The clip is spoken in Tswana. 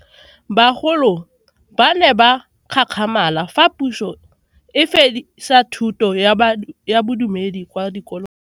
Bagolo ba ne ba gakgamala fa Puso e fedisa thuto ya Bodumedi kwa dikolong.